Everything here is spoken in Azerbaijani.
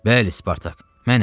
Bəli, Spartak, mənəm.